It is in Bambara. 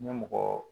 N ye mɔgɔ